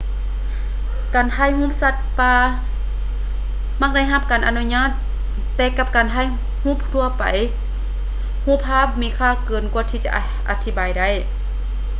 ການຖ່າຍຮູບສັດປ່າມັກໄດ້ຮັບການອະນຸຍາດແຕ່ກັບການຖ່າຍຮູບທົ່ວໄປຮູບພາບມີຄ່າເກີນກວ່າຈະອະທິບາຍໄດ້